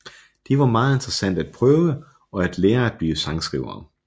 Det var meget interessant at prøve og at lære at blive sangskrivere